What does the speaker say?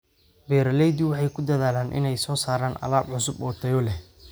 Beeraleydu waxay ku dadaalaan inay soo saaraan alaab cusub oo tayo leh.